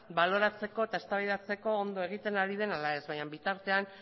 baloratzeko eta eztabaidatzeko ondo egiten ari den ala ez baina bitartean